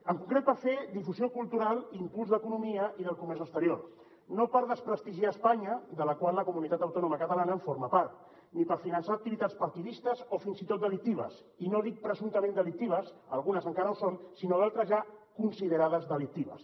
en concret per fer difusió cultural i impuls de l’economia i del comerç exterior no per desprestigiar espanya de la qual la comunitat autònoma catalana forma part ni per finançar activitats partidistes o fins i tot delictives i no dic presumptament delictives algunes encara ho són sinó d’altres ja considerades delictives